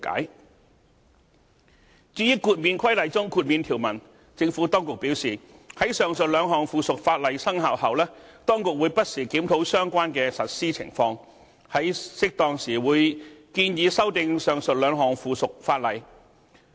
至於《建造業工人註冊規例》中的豁免條文，政府當局表示，在上述兩項附屬法例生效後，當局會不時檢討相關的實施情況，在適當時會建議修訂上述兩項附屬法例。